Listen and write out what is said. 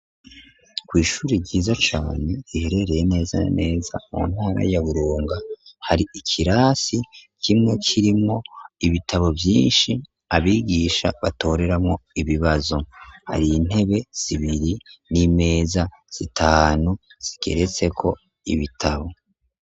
ku ishuri ryiza cane iherereye neza neza mu ntara ya buronga hari ikirasi kimwe kirimo ibitabo byinshi abigisha batoreramo ibibazo hari intebe zibiri n'imeza zitanu zikeretse ko ibitabo